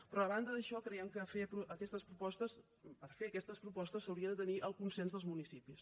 però a banda d’això creiem que per fer aquestes propostes s’hauria de tenir el consens dels municipis